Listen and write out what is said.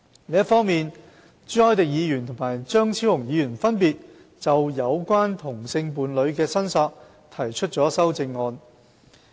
另一方面，朱凱廸議員和張超雄議員分別就有關同性伴侶的申索提出了修正案。